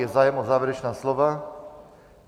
Je zájem o závěrečná slova?